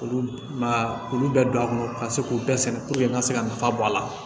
Olu ma olu bɛɛ don a kɔnɔ ka se k'u bɛɛ sɛnɛ n ka se ka nafa bɔ a la